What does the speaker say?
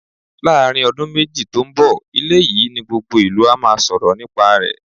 Láàárín ọdún méjì tó ń bọ̀, ilé yìí ni gbogbo ìlú á máa sọ̀rọ̀ nípa rẹ̀.